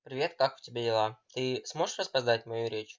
привет как у тебя дела ты сможешь рассказать мою речь